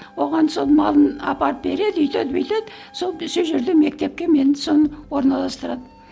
оған сол малын апарып береді өйтеді бүйтеді сол сол жерде мектепке мені соны орналастырады